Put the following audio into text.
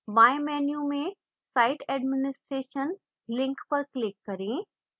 बाएं menu में site administration link पर click करें